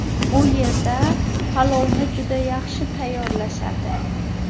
U yerda palovni juda yaxshi tayyorlashadi.